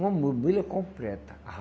Uma mobília completa.